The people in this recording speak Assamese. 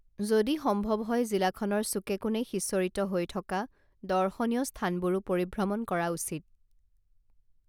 যদি সম্ভৱ হয় জিলাখনৰ চুকে কোণে সিঁচৰিত হৈ থকা দৰ্শনীয় স্থানবোৰো পৰিভ্ৰমণ কৰা উচিত